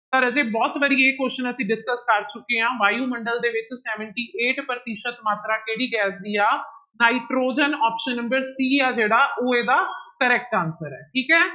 ਤਾਂ ਰਾਜੇ ਬਹੁੁਤ ਵਾਰੀ ਇਹ question ਅਸੀਂ discuss ਕਰ ਚੁੱਕੇ ਹਾਂ ਵਾਯੂਮੰਡਲ ਦੇ ਵਿੱਚ seventy eight ਪ੍ਰਤੀਸ਼ਤ ਮਾਤਰਾ ਕਿਹੜੀ ਗੈਸ ਦੀ ਆ, ਨਾਇਟ੍ਰੋਜਨ option number c ਹੈ ਜਿਹੜਾ ਉਹ ਇਹਦਾ correct answer ਹੈ ਠੀਕ ਹੈ।